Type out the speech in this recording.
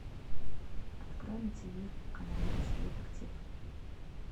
открой на тв канал русский детектив